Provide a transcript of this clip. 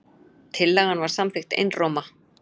Tillagan var samþykkt einróma.